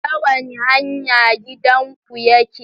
Ta wane hanya gidanku yake?